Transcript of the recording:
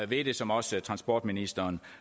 ved det som også transportministeren